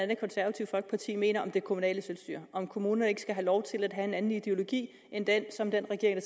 det konservative folkeparti mener om det kommunale selvstyre om kommunerne ikke skal have lov til at have en anden ideologi end den som den regering